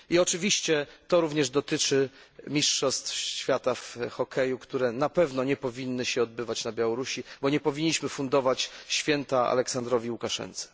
I oczywiście to również dotyczy mistrzostw świata w hokeju, które na pewno nie powinny się odbywać na Białorusi, bo nie powinniśmy fundować święta Aleksandrowi Łukaszence.